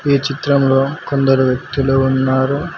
ఈ చిత్రంలో కొందరు వ్యక్తులు ఉన్నారు.